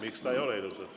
Miks ta ilus õhtu ei ole!